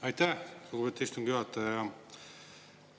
Aitäh, lugupeetud istungi juhataja!